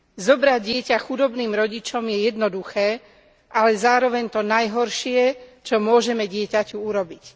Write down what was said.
Zobrať dieťa chudobným rodičom je jednoduché, ale zároveň to najhoršie, čo môžeme dieťaťu urobiť.